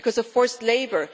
because of forced labour